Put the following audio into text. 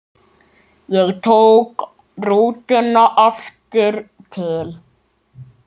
Ég tók rútuna aftur til